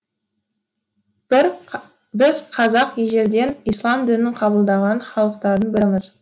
біз қазақ ежелден ислам дінін қабылдаған халықтардың біріміз